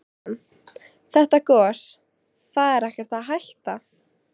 Kristján: Þetta gos, það er ekkert að hætta?